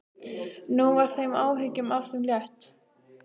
Nú var þeim áhyggjum af þeim létt.